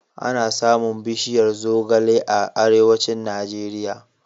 Ana samun bishiyar zogale a Arewacin Najeriya.